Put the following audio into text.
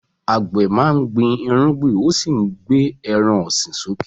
Àgbẹ̀ máa ń gbin irúgbìn ó sì ń gbé ẹran ọ̀sìn sókè.